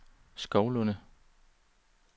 Skovlunde